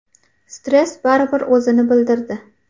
Stress baribir o‘zini bildirdi.